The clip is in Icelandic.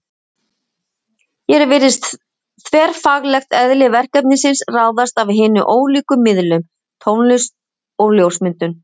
Hér virðist þverfaglegt eðli verkefnisins ráðast af hinum ólíku miðlum: Tónlist og ljósmyndum.